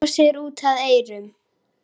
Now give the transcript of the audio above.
Brosti út að eyrum.